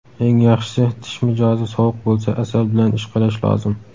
Eng yaxshisi tish mijozi sovuq bo‘lsa asal bilan ishqalash lozim.